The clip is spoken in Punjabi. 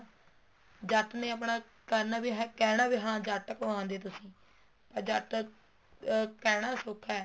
ਜੱਟ ਨੇ ਆਪਣਾ ਕਰਨਾ ਵੀ ਹੈ ਕਹਿਣਾ ਵੀ ਹੈ ਹਾਂ ਜੱਟ ਕੋਹਾਦੇ ਤੁਸੀਂ ਤਾਂ ਜੱਟ ਅਹ ਕਹਿਣਾ ਸੋਖਾ ਹੈ